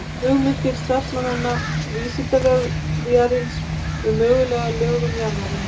Hugmyndir starfsmanna Vísindavefsins um mögulega lögun jarðarinnar.